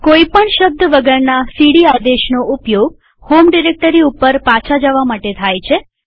કોઈ પણ શબ્દ વગરના સીડી આદેશનો ઉપયોગ હોમ ડિરેક્ટરી ઉપર પાછા જવા માટે થાય છે